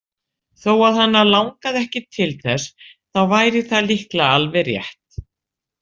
Þó að hana langaði ekki til þess þá væri það líklega alveg rétt.